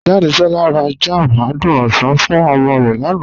Jàdésolá rà jam àdùn osan fún omo rẹ lánà.